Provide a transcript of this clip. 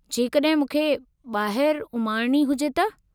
जेकॾहिं मूंखे ॿाहिरि उमाणणी हुजे त?